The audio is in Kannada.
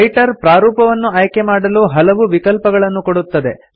ರೈಟರ್ ಪ್ರಾರೂಪವನ್ನು ಆಯ್ಕೆಮಾಡಲು ಹಲವು ವಿಕಲ್ಪಗಳನ್ನು ಕೊಡುತ್ತದೆ